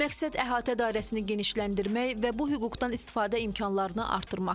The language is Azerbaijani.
Məqsəd əhatə dairəsini genişləndirmək və bu hüquqdan istifadə imkanlarını artırmaqdır.